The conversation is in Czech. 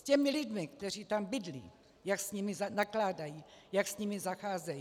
S těmi lidmi, kteří tam bydlí, jak s nimi nakládají, jak s nimi zacházejí.